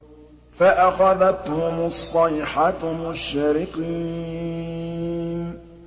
فَأَخَذَتْهُمُ الصَّيْحَةُ مُشْرِقِينَ